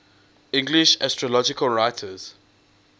english astrological writers